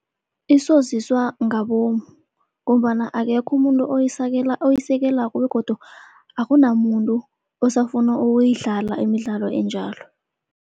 Isoziswa ngabomu ngombana akekho umuntu oyisekelako begodu akunamuntu osafuna ukuyidlala imidlalo enjalo.